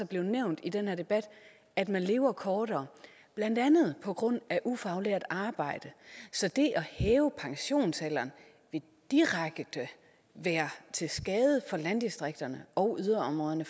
blevet nævnt i den her debat at man lever kortere blandt andet på grund af ufaglært arbejde så det at hæve pensionsalderen vil direkte være til skade for landdistrikterne og yderområderne